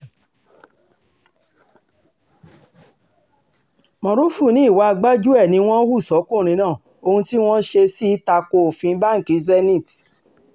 morufú ní ìwà gbájú-ẹ̀ ni wọ́n hu fọ́kùnrin náà ohun tí wọ́n ṣe sì ta ko òfin báǹkì zenith